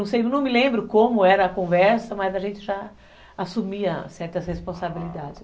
Não me lembro como era a conversa, mas a gente já assumia certas responsabilidades.